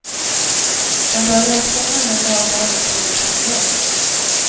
De börjar skolan den dag barnen fyller fem år.